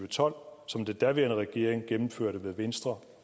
tolv som den daværende regering gennemførte med venstre